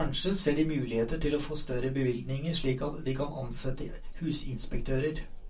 Kanskje ser de muligheter til å få større bevilgninger sik at de kan ansette husinspektører.